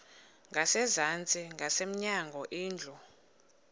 ngasezantsi ngasemnyango indlu